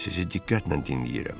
Sizi diqqətlə dinləyirəm.